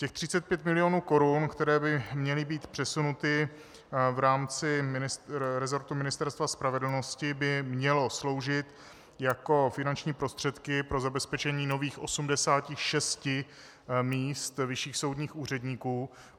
Těch 35 mil. korun, které by měly být přesunuty v rámci resortu Ministerstva spravedlnosti, by mělo sloužit jako finanční prostředky pro zabezpečení nových 86 míst vyšších soudních úředníků;